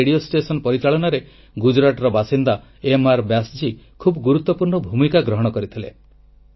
ଏହି radio station ପରିଚାଳନାରେ ଗୁଜରାଟର ବାସିନ୍ଦା ଏମ୍ଆର୍ ବ୍ୟାସ୍ଜୀ ଖୁବ୍ ଗୁରୁତ୍ୱପୂର୍ଣ୍ଣ ଭୂମିକା ଗ୍ରହଣ କରିଥିଲେ